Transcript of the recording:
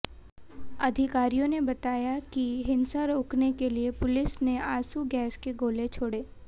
अधिकारियों ने बताया कि हिंसा रोकने के लिए पुलिस ने आंसू गैस के गोले छोड़े